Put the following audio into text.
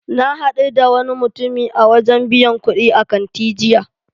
Na hadu da wani mutumi a wajen biyan kudi a kanti jiya.